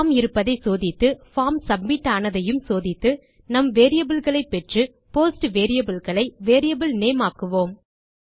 form இருப்பதை சோதித்து form submit ஆனதையும் சோதித்து நம் variableகளை பெற்று போஸ்ட் வேரியபிள் களை வேரியபிள் நேம் ஆக்குவோம்